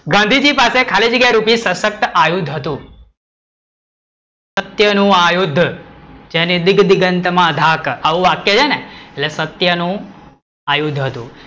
ગાંધીજી પાસે ખાલી જગ્યા રૂપી શસ્ક્ત આ યુદ્ધ હતું, સત્ય નું આ યુદ્ધ, જેની આટલી ગંત માં ઘાક, આવું વાક્ય છે ને, એટલે સત્ય નું આ યુદ્ધ હતું,